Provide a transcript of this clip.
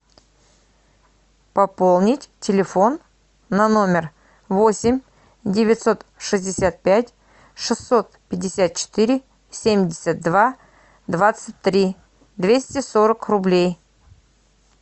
пополнить телефон на номер восемь девятьсот шестьдесят пять шестьсот пятьдесят четыре семьдесят два двадцать три двести сорок рублей